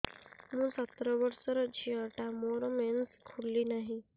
ମୁ ସତର ବର୍ଷର ଝିଅ ଟା ମୋର ମେନ୍ସେସ ଖୁଲି ନାହିଁ